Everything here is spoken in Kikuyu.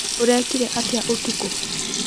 ũrekire atĩa ũtukũ?